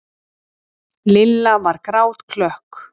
Lilla var grátklökk.